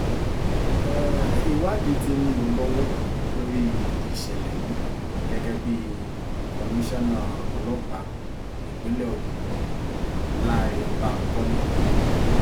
ìwádìí tí ń lọ lọ́wọ́ lórí ìṣẹ̀lẹ̀ yìí gẹ́gẹ́ bí komisanna ọlọ́pàá ìpínlẹ̀ ogun cc lánre bankole